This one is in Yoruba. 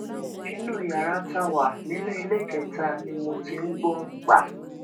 inú yàrá tá a wà nínú iléekétà ni mo ti ń gbó gbà